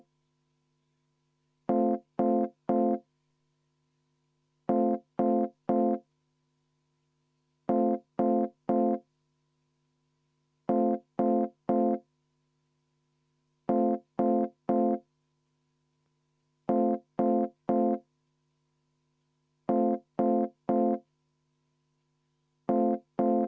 Ma palun ka seda muudatusettepanekut hääletada ja enne seda kümme minutit vaheaega.